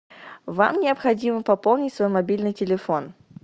вам необходимо пополнить свой мобильный телефон